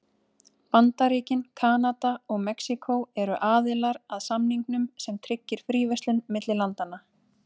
Bandaríkin, Kanada og Mexíkó eru aðilar að samningnum sem tryggir fríverslun milli landanna.